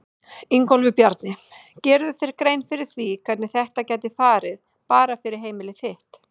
Ingólfur Bjarni: Gerirðu þér grein fyrir því hvernig þetta gæti farið bara fyrir heimili þitt?